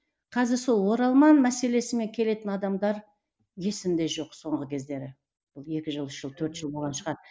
қазір сол оралман мәселесімен келетін адамдар есімде жоқ соңғы кездері екі жыл үш жыл төрт жыл болған шығар